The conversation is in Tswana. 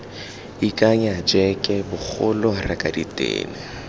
ikanya jeke bogolo reka ditene